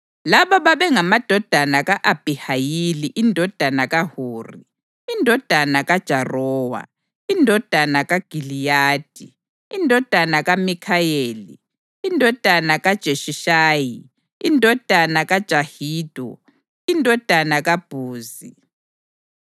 Laba babengamadodana ka-Abhihayili indodana kaHuri, indodana kaJarowa, indodana kaGiliyadi, indodana kaMikhayeli, indodana kaJeshishayi, indodana kaJahido, indodana kaBhuzi.